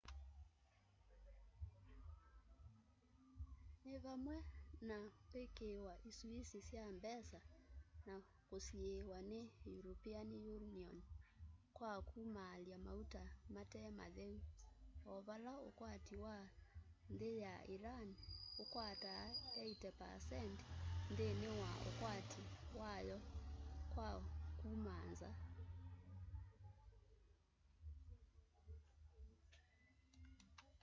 ni vamwe na kwikiiwa isuisi sya mbesa na kusiiwa ni european union kwa kumaalya mauta mate matheu o vala ukwati wa nthi ya iran ukwataa 80% nthini wa ukwati wayo wa kuma nza